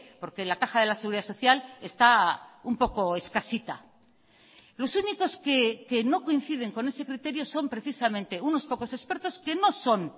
porque la caja de la seguridad social está un poco escasita los únicos que no coinciden con ese criterio son precisamente unos pocos expertos que no son